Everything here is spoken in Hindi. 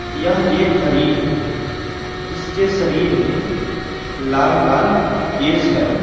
यह एक हरिण है इसके शरीर में लाल-लाल केस है।